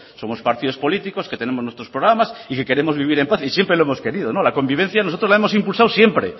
somos partidos políticos que tenemos nuestros programas y que queremos vivir en paz y siempre lo hemos querido la convivencia nosotros la hemos impulsado siempre